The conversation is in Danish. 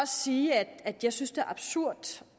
sige at jeg synes det er absurd